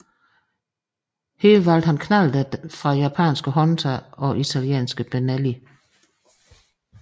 Her valgte han knallerter fra japanske Honda og italienske Benelli